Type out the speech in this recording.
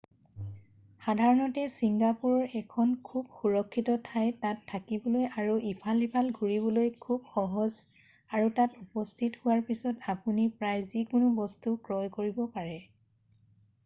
সাধাৰণতে ছিংগাপুৰ এখন খুব সুৰক্ষিত ঠাই তাত থাকিবলৈ আৰু ইফাল সিফাল ঘুৰিবলৈ খুব সহজ আৰু তাত উপস্থিত হোৱাৰ পিছত আপুনি প্ৰায় যিকোনো বস্তু ক্ৰয় কৰিব পাৰে